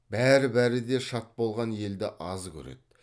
бәр бәрі де шат болған елді аз көреді